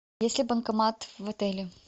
есть ли банкомат в отеле